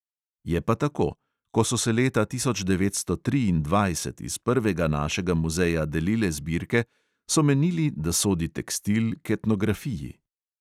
Je pa tako: ko so se leta tisoč devetsto triindvajset iz prvega našega muzeja delile zbirke, so menili, da sodi tekstil k etnografiji.